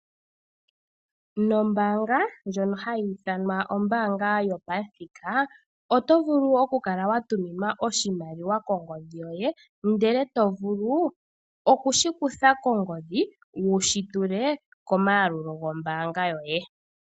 Nombaanga ndjino hayi ithanwa kutya o'Standard Bank oto vulu oku tuminwa oshimaliwa kongodhi yoye ndele to vulu oku shi kuthako kongodhi ngoye wushi tule komayalulo yombaanga yoye .